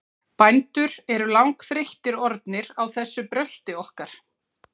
Bændur eru langþreyttir orðnir á þessu brölti okkar.